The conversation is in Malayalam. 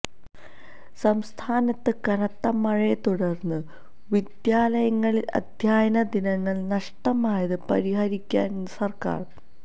സംസ്ഥാനത്ത് കനത്ത മഴയെ തുടര്ന്ന് വിദ്യാലയങ്ങളില് അധ്യയന ദിനങ്ങള് നഷ്ടമായത് പരിഹരിക്കാന് സര്ക്കാര്